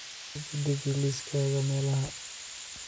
dib u deji liiskayga meelaha